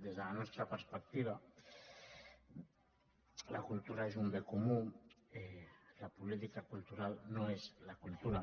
des de la nostra perspectiva la cultura és un bé comú la política cultural no és la cultura